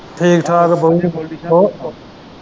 ਠੀਕ-ਠਾਕ ਏ ਬਓ ਹੋ।